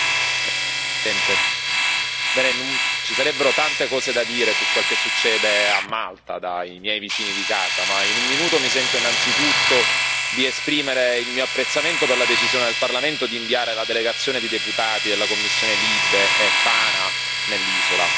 Signora Presidente, onorevoli colleghi, ci sarebbero tante cose da dire su quel che succede a Malta, dai miei vicini di casa. Ma, in un minuto, mi sento innanzitutto di esprimere il mio apprezzamento per la decisione del Parlamento di inviare la delegazione di deputati delle commissioni LIBE e PANA nell'isola.